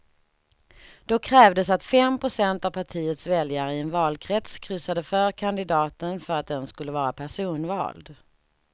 Då krävdes att fem procent av partiets väljare i en valkrets kryssade för kandidaten för att den skulle vara personvald.